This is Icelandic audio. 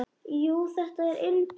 Jú, þetta er indælt